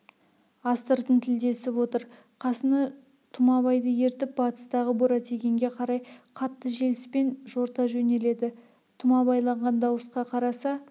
астыртын тілдесіп отыр қасына тұмабайды ертіп батыстағы буратигенге қарай қатты желіспен жорта жөнеледі тұмабайлаған дауысқа қараса